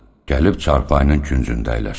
Gəlib çarpayının küncündə əyləşdi.